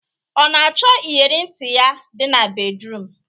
Ọ na achọ iyere ntị ya dị na bedruum?